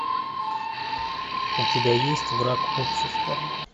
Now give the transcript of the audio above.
у тебя есть враг общества